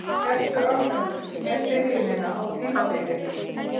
Ertu ánægður með byrjunina á tímabilinu?